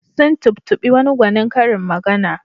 Sun tubtuɓi wani gwanin karin magana.